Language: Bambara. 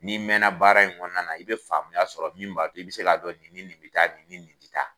Ni'i mɛnna baara in kɔnɔɔna na, i bɛ faamuya sɔrɔ min b'a to i bɛ se k'a dɔn ni ni nin bɛ taa , ni ni nin tɛ taa.